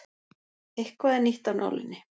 Eitthvað er nýtt af nálinni